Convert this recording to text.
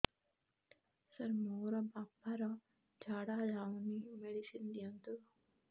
ସାର ମୋର ବାପା ର ଝାଡା ଯାଉନି ମେଡିସିନ ଦିଅନ୍ତୁ